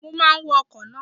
Mo máa wọ ọkọ̀ náà.